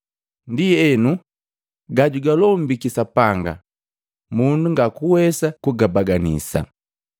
Ndienu gajugalombiki Sapanga mundu ngakuwesa kugabaganisa.”